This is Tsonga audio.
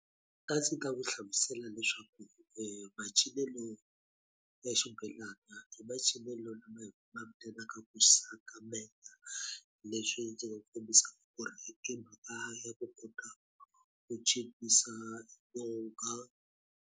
A ndzi ta n'wi hlamusela leswaku macinelo ya xibelani i macinelo lama ma ku sakamela. Leswi ndzi nga kombisa ku ri i mhaka ya ku kota ku cinisa yonga.